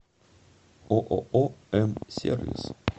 ооо м сервис